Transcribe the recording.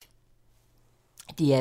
DR2